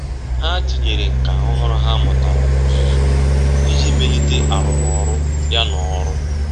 Há tínyere nkà ọ́hụ́rụ́ ha mụ́tàrà n’ọ́zụ́zụ́ iji melite arụ́mọ́rụ́. ya n’ọ́rụ́.